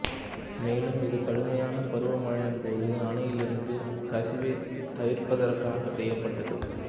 மேலும் இது கடுமையான பருவமழையின் போது அணையில் இருந்து கசிவைத் தவிர்ப்பதற்காகவும் செய்யப்பட்டது